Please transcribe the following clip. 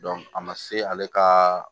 a ma se ale ka